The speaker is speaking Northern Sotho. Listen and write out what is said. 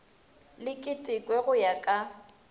le ketekwe go ya ka